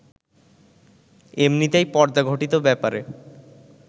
এমনিতেই পর্দাঘটিত ব্যাপারে